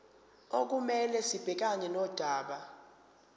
okumele sibhekane nodaba